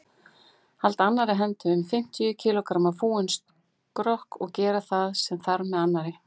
Halda annarri hendi um fimmtíu kílógramma fúinn skrokk og gera það sem þarf með annarri.